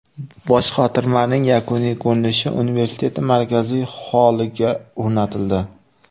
Boshqotirmaning yakuniy ko‘rinishi universitetning markaziy holliga o‘rnatildi.